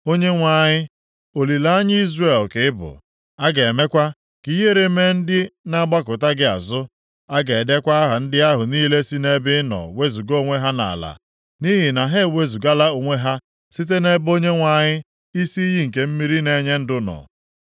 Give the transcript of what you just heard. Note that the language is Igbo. Onyenwe anyị, olileanya Izrel ka ị bụ. A ga-emekwa ka ihere mee ndị na-agbakụta gị azụ. A ga-edekwa aha ndị ahụ niile si nʼebe ị nọ wezuga onwe ha nʼala, nʼihi na ha ewezugala onwe ha site nʼebe Onyenwe anyị, isi iyi nke mmiri na-enye ndụ, nọ.